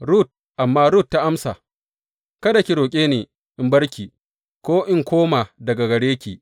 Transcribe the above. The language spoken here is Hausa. Rut Amma Rut ta amsa, Kada ki roƙe ni in bar ki ko in koma daga gare ki.